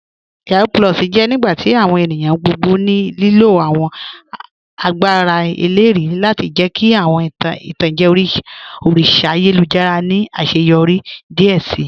Yahoo + jẹ nigbati awọn ènìyàn gbogbo ní lílo awọn àgbàrá èlérì lati jẹ̀ kí awọn itanjẹ̀ òrìṣà àyélujára ni aṣẹ́yọrí díẹ̀ sí.